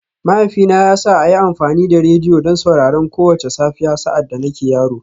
Mahaifina ya sa a yi amfani da rediyo don sauraron kowace safiya sa’ad da nake yaro